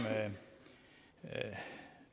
tak